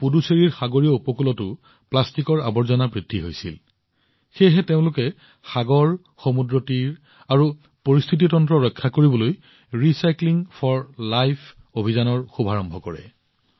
কিন্তু পুডুচেৰীৰ সাগৰীয় উপকূলত প্লাষ্টিকৰ ফলত হোৱা লেতেৰাৰ পৰিমাণো বাঢ়ি আহিছে সেয়েহে সাগৰ সমুদ্ৰ তীৰ আৰু এই পৰিস্থিতিৰ ৰক্ষা কৰিবলৈ ইয়াত মানুহে জীৱনৰ বাবে পুনৰ্ব্যৱহাৰ অভিযান আৰম্ভ কৰিছে